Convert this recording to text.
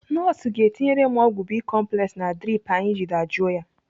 Nọọsụ ga-etinyere m ọgwụ bicomplex na drip ahụ iji dajụọ ya.